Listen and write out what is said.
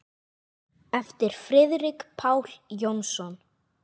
eftir Friðrik Pál Jónsson